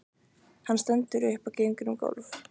Hann stendur upp og gengur um gólf.